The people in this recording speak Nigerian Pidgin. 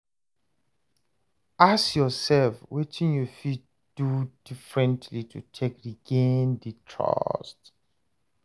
Ask yourself wetin you fit do differently to take regain di trust